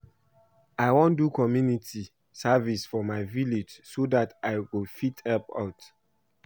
I wan do community service for my village so dat I go fit help out